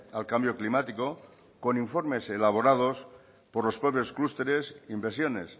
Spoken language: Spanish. al cambio climático con informes elaborados por los pueblos clústeres inversiones